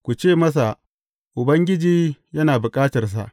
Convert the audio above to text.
Ku ce masa, Ubangiji yana bukatarsa.’